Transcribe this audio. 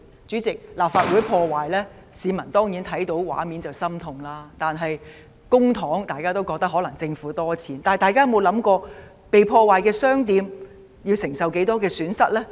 主席，市民看到立法會遭破壞的畫面當然感到心痛，而對於涉及的公帑，大家可能覺得政府有很多錢，但大家有否想過被破壞的商店要承受多少損失呢？